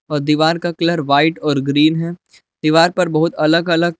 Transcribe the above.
और दीवार का कलर व्हाइट और ग्रीन है दीवार पर बहुत अलग अलग--